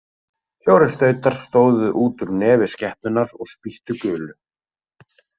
Fjórir stautar stóðu út úr nefi skepnunnar og spýttu gulu.